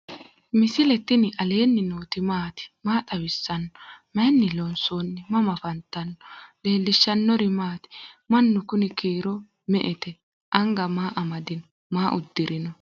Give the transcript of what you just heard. misile tini alenni nooti maati? maa xawissanno? Maayinni loonisoonni? mama affanttanno? leelishanori maati? maanu kuni kiiro me"ete anga maa amadino? maa udirino?